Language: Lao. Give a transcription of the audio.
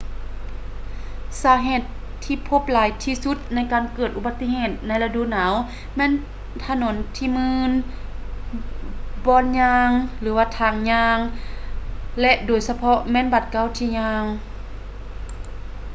ສາເຫດທີ່ພົບຫຼາຍທີ່ສຸດໃນການເກີດອຸບັດຕິເຫດໃນລະດູໜາວແມ່ນຖະໜົນທີ່ມື່ນ ບ່ອນຍ່າງ ທາງຍ່າງ ແລະ ໂດຍສະເພາະແມ່ນບາດກ້າວທີ່ຍ່າງ